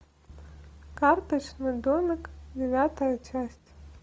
карточный домик девятая часть